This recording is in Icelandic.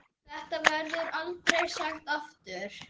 Þetta verður aldrei sagt aftur.